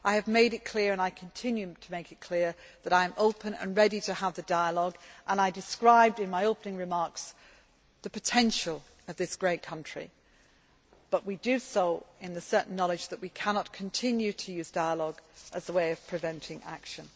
I have made it clear, and I continue to make it clear, that I am open and ready to have the dialogue and I described in my opening remarks the potential of this great country but we do so in the certain knowledge that we cannot continue to use dialogue as a way of preventing action.